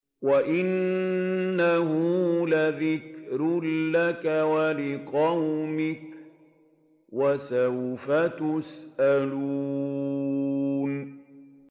وَإِنَّهُ لَذِكْرٌ لَّكَ وَلِقَوْمِكَ ۖ وَسَوْفَ تُسْأَلُونَ